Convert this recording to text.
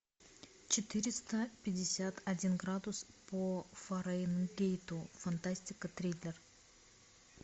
четыреста пятьдесят один градус по фаренгейту фантастика триллер